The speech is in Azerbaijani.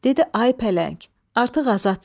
Dedi ay pələng, artıq azadsan.